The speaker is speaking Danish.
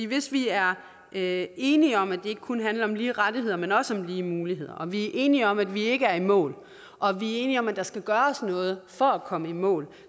hvis vi er er enige om at det ikke kun handler om lige rettigheder men også om lige muligheder og vi er enige om at vi ikke er i mål og vi er enige om at der skal gøres noget for at komme i mål